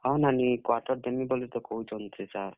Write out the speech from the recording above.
ହଁ, ନାନୀ quarter ଦେମି ବୋଲି ତ କହୁଛନ୍ ସେ ସାର୍।